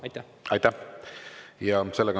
Aitäh!